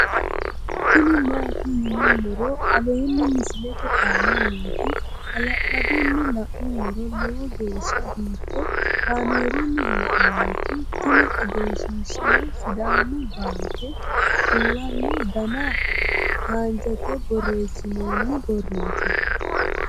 tini maati yinummoro aleenni misilete aana nooti hala'ladunni la'nummoro lowo geeshsha biiffe kaamerunni haa'nooniti tini egenshshiishshaho sidaamu baanke kulanno dana haanjate borreessinonni borrooti